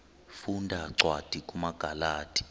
funda cwadi kumagalati